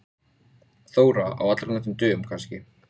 Ert þú ekki líka Breiðfirðingur, Hulda mín?